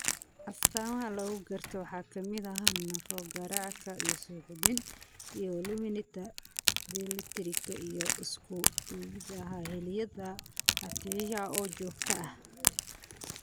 Astaamaha lagu garto waxa ka mid ah naafo garaadka, suuxdin, iyo luminta dheelitirka iyo isku-duwidda xilliyada (ataxia oo joogto ah).